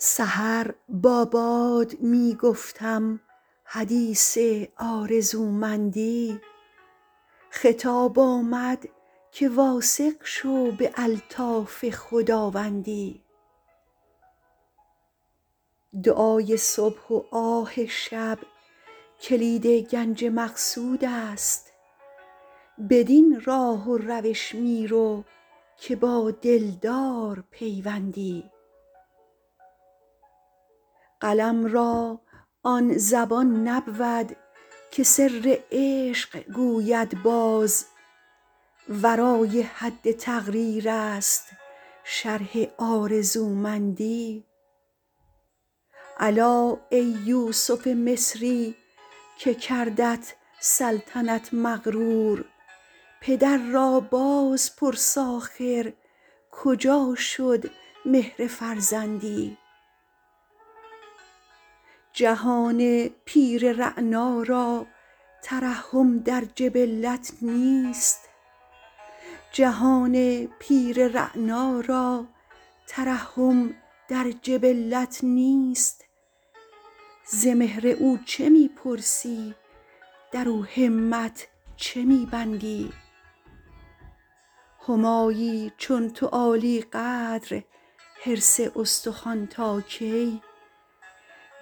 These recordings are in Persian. سحر با باد می گفتم حدیث آرزومندی خطاب آمد که واثق شو به الطاف خداوندی دعای صبح و آه شب کلید گنج مقصود است بدین راه و روش می رو که با دلدار پیوندی قلم را آن زبان نبود که سر عشق گوید باز ورای حد تقریر است شرح آرزومندی الا ای یوسف مصری که کردت سلطنت مغرور پدر را باز پرس آخر کجا شد مهر فرزندی جهان پیر رعنا را ترحم در جبلت نیست ز مهر او چه می پرسی در او همت چه می بندی همایی چون تو عالی قدر حرص استخوان تا کی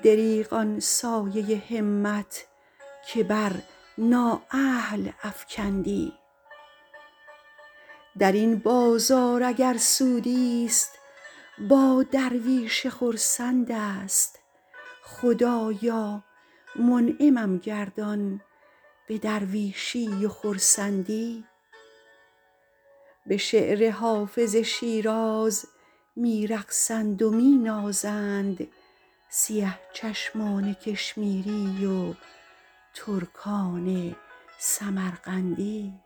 دریغ آن سایه همت که بر نااهل افکندی در این بازار اگر سودی ست با درویش خرسند است خدایا منعمم گردان به درویشی و خرسندی به شعر حافظ شیراز می رقصند و می نازند سیه چشمان کشمیری و ترکان سمرقندی